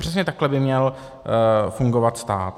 Přesně takhle by měl fungovat stát.